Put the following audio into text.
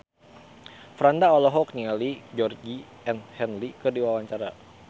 Franda olohok ningali Georgie Henley keur diwawancara